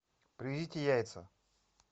привезите яйца